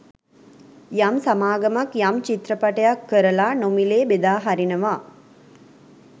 යම් සමාගමක් යම් චිත්‍රපටයක් කරලා නොමිලේ බෙදා හරිනවා